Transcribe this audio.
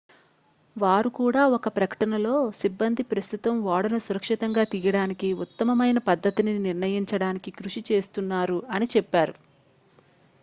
"వారు కూడా ఒక ప్రకటనలో "సిబ్బంది ప్రస్తుతం ఓడను సురక్షితంగా తీయడానికి ఉత్తమమైన పద్ధతిని నిర్ణయించడానికి కృషి చేస్తున్నారు""అని చెప్పారు.